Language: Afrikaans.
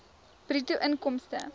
bruto inkomste